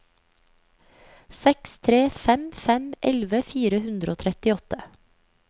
seks tre fem fem elleve fire hundre og trettiåtte